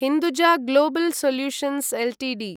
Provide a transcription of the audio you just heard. Hinduja global solutions Ltd